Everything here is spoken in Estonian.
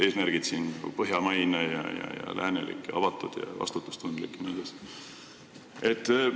Eesmärk on olla põhjamaine, läänelik ja avatud, vastutustundlik jne riik.